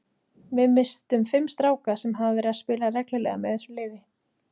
Við misstum fimm stráka sem hafa verið að spila reglulega með þessu liði.